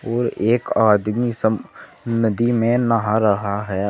और एक आदमी सम नदी में नहा रहा है।